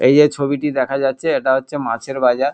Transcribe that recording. এই যে ছবিটি দেখা যাচ্ছে এটা হচ্ছে মাছের বাজার।